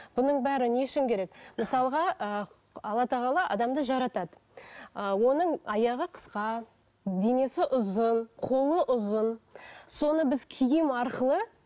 бұның бәрі не үшін керек мысалға ы алла тағала адамды жаратады ы оның аяғы қысқа денесі ұзын қолы ұзын соны біз киім арқылы